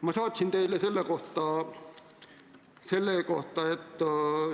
Ma saatsin teile selle kohta, et